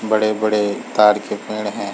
बड़े - बड़े तार के पेंड़ है।